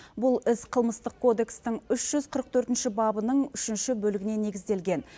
бұл іс қылмыстық кодекстің үш жүз қырық төртінші бабының үшінші бөлігіне негізделген